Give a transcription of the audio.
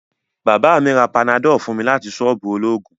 Baba mi ra panadol fun mi lati soobu ologun